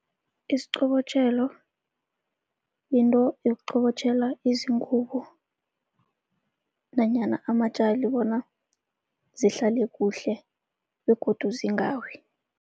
Isiqobotjhelo yinto yokuqobotjhela izingubo nanyana amatjali bona zihlale kuhle begodu zingawi.